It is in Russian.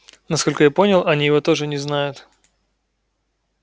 насколько я понял они его тоже не знают